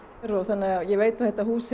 þannig að ég veit að þetta hús